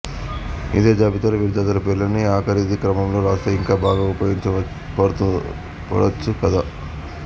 ఇదే జాబితాలో విద్యార్థుల పేర్లని అకారాది క్రమంలో రాస్తే ఇంకా బాగా ఉపయోగపడొచ్చు కదా